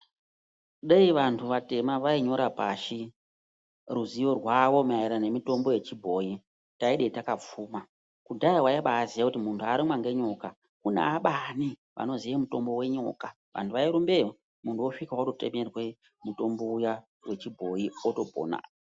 Deyi vanhu vatema vainyora pashi ruzivo rwavo maererano nemitombo yechibhoyi tayidayi takapfuma. Kudhaya waimbaaziya kuti kudayi munhtu warumwa ngenyoka kunaabani vanoziye mitombo yenyoka, vantu vairumbeyo. Muntu wosvika wototemerwe mutombo uya wechibhoyi wotopona.